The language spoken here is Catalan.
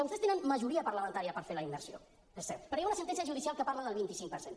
vostès tenen majoria parlamentària per fer la immersió és cert però hi ha una sentència judicial que parla del vint cinc per cent